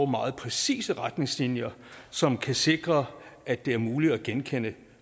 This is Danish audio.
meget præcise retningslinjer som kan sikre at det er muligt at genkende